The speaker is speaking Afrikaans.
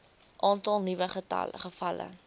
aantal nuwe gevalle